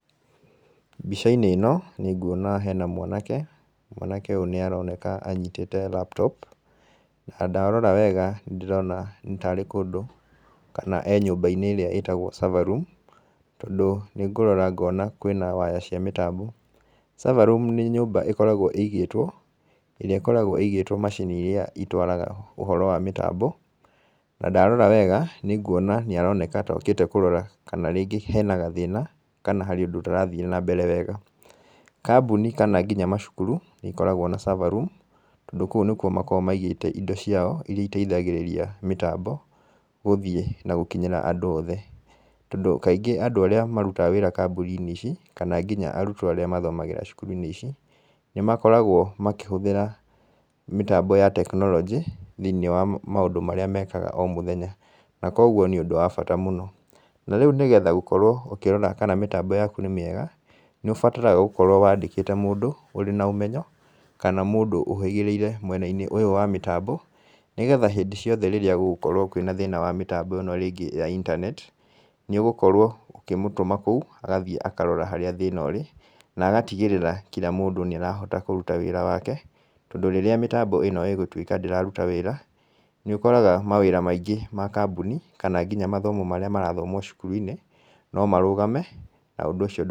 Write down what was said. Mbica-inĩ ĩno nĩnguona hena mwanake, mwanake ũyũ nĩaroneka anyitĩte laptop na ndarora wega nĩndĩrona nĩ tarĩ kũndũ kana e nyũmba-inĩ ĩrĩa ĩtagwo server room tondũ nĩngũrora ngona kwĩna waya cia mĩtambo. Server room nĩ nyũmba ĩkoragwo ĩigĩtwo ĩrĩa ĩkoragwo ĩigĩtwo macini iria itwaraga ũhoro wa mĩtambo na ndarora wega nĩnguona nĩaroneka ta okĩte kũrora kana rĩngĩ hena gathĩna kana harĩ ũndũ ũtarathiĩ na mbere wega. Kambũni kana kinya macukuru nĩikoragwo na server room tondũ kũu nĩkuo makoragwo maigĩte indo ciao iria iteithagĩrĩria mĩtambo gũthiĩ na gũkinyĩra andũ othe, tondũ kaingĩ andũ arĩa marutaga wĩra kambũni-inĩ ici, kana nginya arutwo arĩa mathomagĩra cukuru-inĩ ici, nĩmakoragwo makĩhũtĩra mĩtambo ya tekinoronjĩ thĩiniĩ wa maũndũ marĩa mekaga o mũthenya, na kuoguo nĩ ũndũ wa bata mũno. Na rĩu nĩgetha gũkorwo ũkĩrora kana mĩtambo yaku nĩ mĩega, nĩũbataraga gũkorwo wandĩkĩte mũndũ ũrĩ na ũmenyo, kana mũndũ ũhĩgĩrĩire mwena-inĩ ũyũ wa mĩtambo nĩgetha hĩndĩ ciothe rĩrĩa gũgũkorwo kwĩna thĩna wa mĩtambo ĩno rĩngĩ ya intaneti, nĩũgũkorwo ũkĩmũtũma kũu agathiĩ akarora harĩa thĩna ũrĩ, na agatigĩrĩra kira mũndũ nĩarahota kũruta wĩra wake, tondũ rĩrĩa mĩtambo ĩno ĩgũtuĩka ndĩraruta wĩra, nĩũkoraga mawĩra maingĩ ma kambũni kana kinya mathomo marĩa marathomwo cukuru-inĩ, no marũgame na ũndũ ũcio ndũ